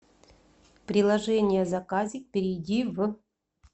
приложение заказик перейди в